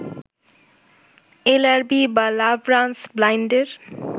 LRB বা love runs ব্লাইন্ডের